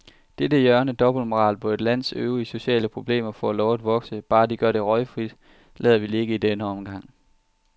Dette hjørne af dobbeltmoral, hvor et lands øvrige sociale problemer får lov at vokse, bare de gør det røgfrit, lader vi ligge i denne omgang.